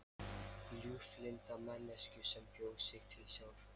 Ljúflynda manneskju sem bjó sig til sjálf.